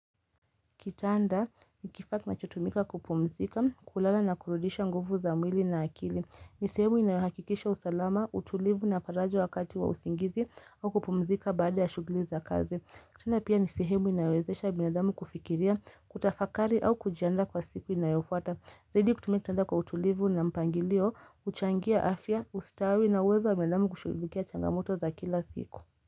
Kitanda ni kifaa kinachotumika kupumzika, kulala na kurudisha nguvu za mwili na akili. Ni sehemu inayohakikisha usalama, utulivu na faraja wakati wa usingizi au kupumzika baada ya shughuli za kazi. Kitanda pia nisehemu inayowezesha binadamu kufikiria, kutafakari au kujiandaa kwa siku inayofuata. Zaidi kutumia kitanda kwa utulivu na mpangilio, huchangia afya, ustawi na uwezo wamwanadamu kushughulikia changamoto za kila siku.